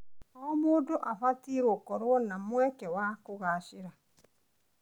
O mũndũ abatiĩ gũkorwo na mweke wa kũgacĩra.